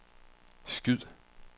skyd